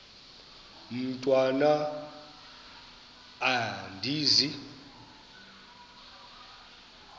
mntwan am andizi